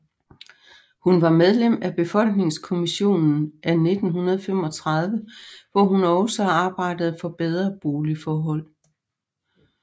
Hun var medlem af Befolkningskommissionen af 1935 hvor hun også arbejdede for bedre boligforhold